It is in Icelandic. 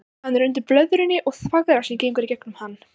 Hann er undir blöðrunni og þvagrásin gengur í gegnum hann.